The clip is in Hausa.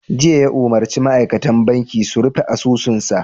Jiya ya umarci ma'aikatan banki su 'Rufe asusunsa!